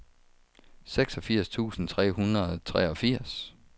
seksogfirs tusind tre hundrede og treogfirs